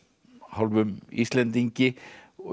hálfum Íslendingi